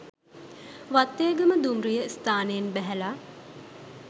වත්තේගම දුම්රිය ස්ථානයෙන් බැහැල